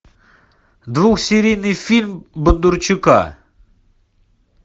двухсерийный фильм бондарчука